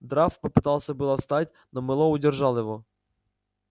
драфт попытался было встать но мэллоу удержал его